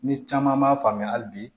Ni caman m'a faamuya hali bi